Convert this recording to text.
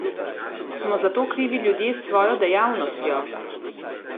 Smo za to krivi ljudje s svojo dejavnostjo?